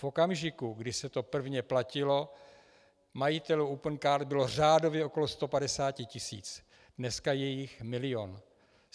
V okamžiku, kdy se to prvně platilo, majitelů Opencard bylo řádově okolo 150 tisíc, dneska je jich milion.